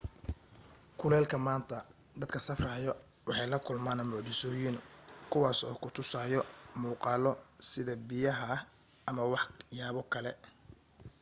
kuleelka maanta dadka safrayo waxay la kulmaan mucjisoyin kuwaas oo ku tusayo muqaalo sida biyaha ama wax yaabo kale